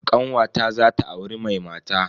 Kanwata zata auri mai mata.